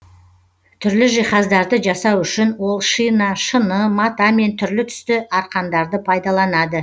түрлі жиһаздарды жасау үшін ол шина шыны мата мен түрлі түсті арқандарды пайдаланады